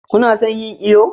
ku na son yin iyo?